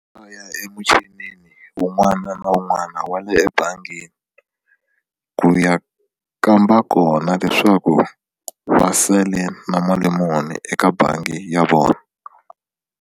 A ya emuchini wun'wana na wun'wana wa le ebangini ku ya kamba kona leswaku va sale na mali muni eka bangi ya vona.